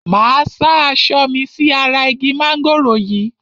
Máa sá aṣọ mi sí ara igi mángòrò yìí.